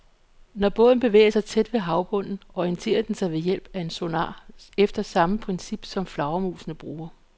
Når båden bevæger sig tæt ved havbunden, orienterer den sig ved hjælp af en sonar efter samme princip, som flagermusene bruger.